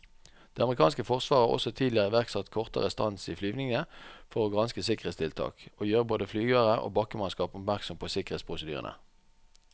Det amerikanske forsvaret har også tidligere iverksatt kortere stans i flyvningene for å granske sikkerhetstiltak og gjøre både flyvere og bakkemannskap oppmerksomme på sikkerhetsprosedyrene.